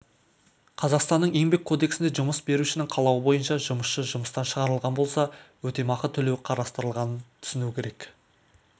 қазақстанның еңбек кодексінде жұмыс берушінің қалауы бойынша жұмысшы жұмыстан шығарылған болса өтемақы төлеу қарастырылғанын түсіну керек